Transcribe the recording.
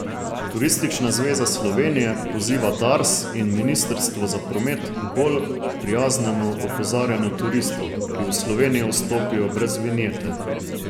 Turistična zveza Slovenije poziva Dars in ministrstvo za promet k bolj prijaznemu opozarjanju turistov, ki v Slovenijo vstopijo brez vinjete.